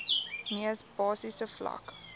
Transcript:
mees basiese vlak